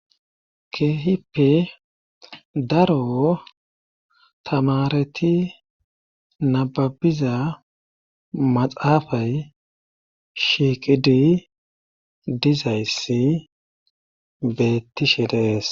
keehippe daro tamareti nababiza maxaafay shiiqidi dizayssi beettishe de'ees